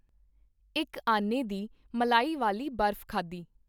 ਇੱਕ ਆਨੇ ਦੀ ਮਲਾਈ ਵਾਲੀ ਬਰਫ਼ ਖਾਧੀ.